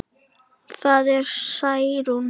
Það var Særún.